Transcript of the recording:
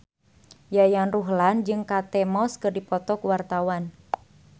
Yayan Ruhlan jeung Kate Moss keur dipoto ku wartawan